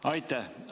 Aitäh!